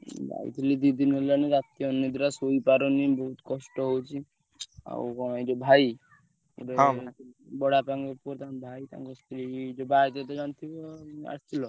ଯାଇଥିଲି ଦି ଦିନ ହେଲାଣି ରାତି ଅନିଦ୍ରା ଶୋଇପାରୁନି ବୋହୁତ କଷ୍ଟ ହଉଛି ଆଉ କଣ ଏ ଯୋଉ ଭାଇ ବଡବାପା ଙ୍କ ପୁଅ ତାଙ୍କ ଭାଇ ତାଙ୍କ ସ୍ତ୍ରୀ ଯୋଉଟ ଏବେ ତ ଜାଣିଥିବ ଆସିଥିଲ।